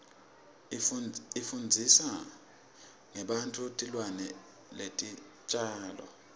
ifundzisa ngebantfu tilwane netitjalo